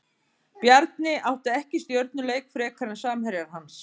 Bjarni átti ekki stjörnuleik frekar en samherjar hans.